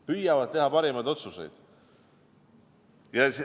Püüavad teha parimaid otsuseid!